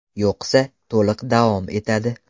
Yo‘qsa, to‘liq davom etadi.